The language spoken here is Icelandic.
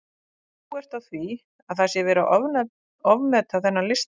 En þú ert á því að það sé verið að ofmeta þennan lista?